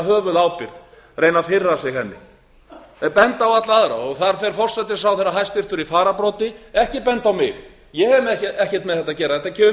höfuðábyrgð reyna að fyrra sig henni þeir benda á alla aðra og þar fer forsætisráðherra hæstvirtur í fararbroddi ekki benda á mig ég hef ekkert með þetta að gera þetta kemur